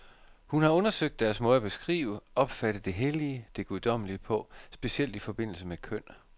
Hun har undersøgt deres måde at beskrive, opfatte det hellige, det guddommelige på, specielt i forbindelse med køn.